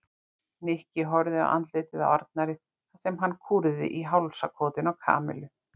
Nikki horfði á andlitið á Arnari þar sem það kúrði í hálsakotinu á Kamillu.